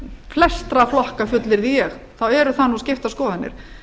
flestra flokka fullyrði ég þá eru þar nú skiptar skoðanir